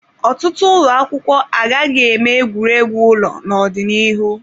Ọtụtụ ụlọ akwụkwọ agaghị eme egwuregwu ụlọ n'ọdịnihu.